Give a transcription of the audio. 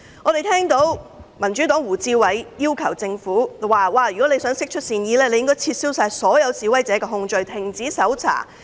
我們聽到民主黨的胡志偉議員說，政府如要釋出善意，便應撤銷所有示威者的控罪及停止搜查。